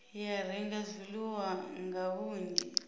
ya renga zwiḽiwa nga vhunzhi